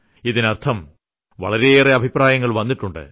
ഇതിനർത്ഥം വളരെയേറെ അഭിപ്രായങ്ങൾ വന്നിട്ടുണ്ട്